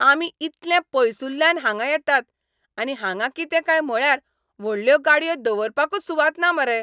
आमी इतलें पयसुल्ल्यान हांगां येतात आनी हांगां कितें काय म्हळ्यार व्हडल्यो गाडयो दवरपाकूच सुवात ना मरे.